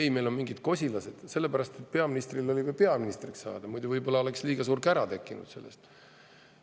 " Ma arvan, et sellepärast, et peaministril oli vaja peaministriks saada, muidu võib-olla oleks liiga suur kära tekkinud sellest.